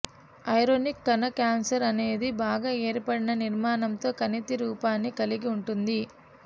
ఇరోనిక్ కణ క్యాన్సర్ అనేది బాగా ఏర్పడిన నిర్మాణంతో కణితి రూపాన్ని కలిగి ఉంటుంది